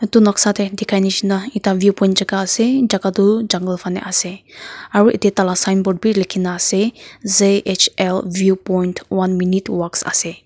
etu noksa tae dekha neshisa ekta view point jaka asa jaka toh jungle fanae ase aru yate taila signboard vi lekhina na ase zhl view point one minute walk ase.